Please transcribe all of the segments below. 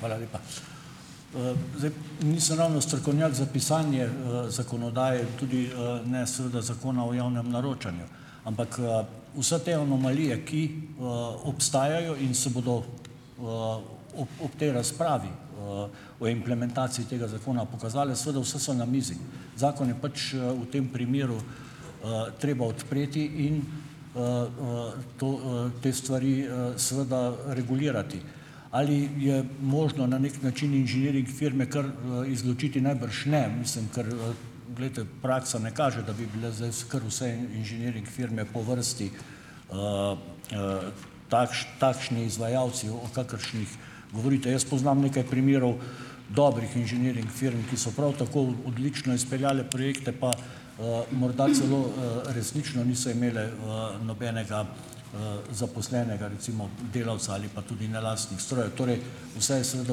Hvala lepa. Zdaj, nisem ravno strokovnjak za pisanje zakonodaje, tudi ne seveda Zakona o javnem naročanju, ampak vse te anomalije, ki obstajajo in se bodo ob ob tej razpravi o implementaciji tega zakona pokazale, seveda vse so na mizi. Zakon je pač v tem primeru treba odpreti in to te stvari seveda regulirati. Ali je možno na neki način inženiring firme kar izločiti? Najbrž ne. Mislim, ker glejte, praksa ne kaže, da bi bile zdaj kar vse inženiring firme po vrsti takšni izvajalci, o kakršnih govorite. Jaz poznam nekaj primerov dobrih inženiring firm, ki so prav tako odlično izpeljale projekte pa morda celo resnično niso imeli nobenega zaposlenega recimo delavca ali pa tudi ne lastnih strojev. Torej, vse je seveda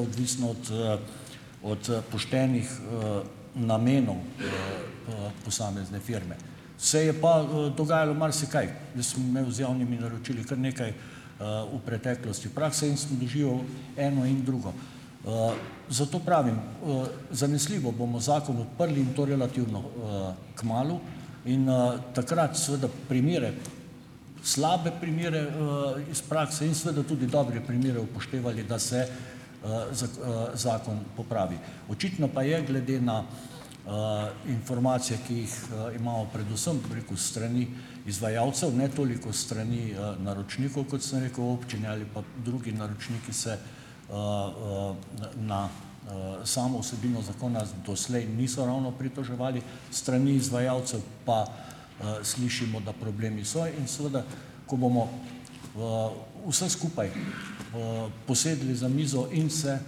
odvisno od ot poštenih namenov posamezne firme. Se je pa dogajalo marsikaj. Jaz sem imel z javnimi naročili kar nekaj v preteklosti prakse in sem doživel eno in drugo. Zato pravim: zanesljivo bomo zakon odprli in to relativno kmalu in takrat seveda primere, slabe primere iz prakse in seveda tudi dobre primere upoštevali, da se zakon popravi. Očitno pa je, glede na informacije, ki jih imamo predvsem, bi rekel, s strani izvajalcev, ne toliko s strani naročnikov, kot sem rekel občine, ali pa drugi naročniki, se n na samo vsebino zakona z doslej niso ravno pritoževali, s strani izvajalcev pa slišimo, da problemi so, in seveda, ko bomo vse skupaj posedli za mizo in se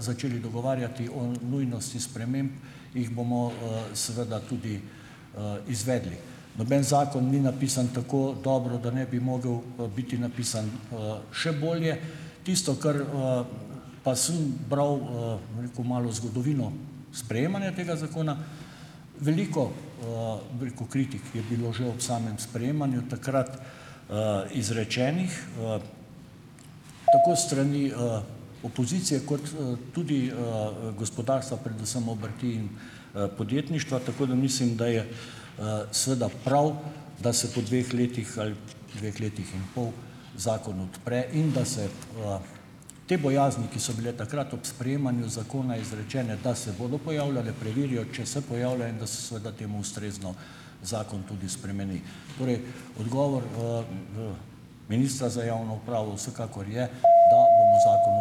začeli dogovarjati o nujnosti sprememb, jih bomo seveda tudi izvedli. Noben zakon ni napisan tako dobro, da ne bi mogel biti napisan še bolje. Tisto, kar pa sem bral, bom rekel, malo zgodovino sprejemanja tega zakona; veliko, bi rekel, kritik je bilo že ob samem sprejemanju takrat izrečenih. Tako s strani opozicije kot tudi gospodarstva, predvsem obrti in podjetništva, tako da mislim, da je seveda prav, da se po dveh letih, ali dveh letih in pol, zakon odpre in da se te bojazni, ki so bile takrat ob sprejemanju zakona izrečene, da se bodo pojavljale, preverijo, če se pojavljajo, in da se seveda temu ustrezno zakon tudi spremeni. Torej, odgovor ministra za javno upravo vsekakor je, da bomo zakon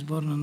odprli.